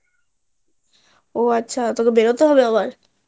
ওহ আচ্ছা তোকে বেরোতে হবে আবার